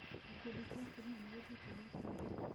Gĩkundi kĩa atumia nĩ gĩthiĩte igoti-inĩ.